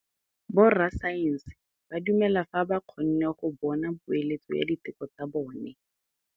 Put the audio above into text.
Borra saense ba dumela fela fa ba kgonne go bona poeletsô ya diteko tsa bone.